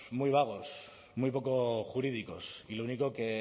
muy vagos muy poco jurídicos y lo único que